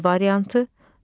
B variantı.